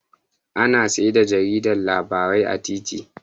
Ana saida jarida labarai a titi